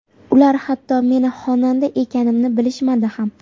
Ular hatto meni xonanda ekanimni bilishmadi ham.